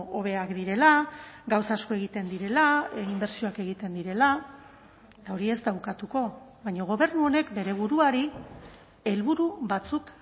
hobeak direla gauza asko egiten direla inbertsioak egiten direla eta hori ez da ukatuko baina gobernu honek bere buruari helburu batzuk